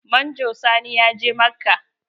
Manjo Sani ya je Makka.